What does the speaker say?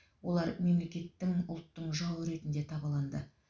олар мемлекеттің ұлттың жауы ретінде табаланды